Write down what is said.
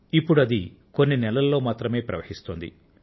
ఇప్పుడు అది కొన్ని నెలల్లో మాత్రమే ప్రవహిస్తోంది